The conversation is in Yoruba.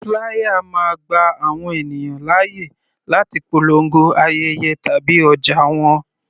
Flier máa gba àwọn ènìyàn láyè láti polongo ayẹyẹ tàbí ọjà wọn.